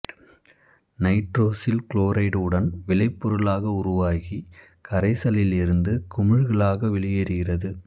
nitrosyl chloride உடன் விளைப் பொருளாக உருவாகி கரைசலில் இருந்து குமிழ்களாக வெளியேறுகிறது